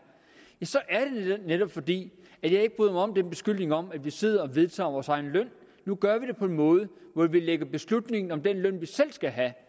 netop fordi jeg ikke bryder mig om beskyldningen om at vi sidder og vedtager vores egen løn nu gør vi det på en måde hvor vi lægger beslutningen om den løn vi selv skal have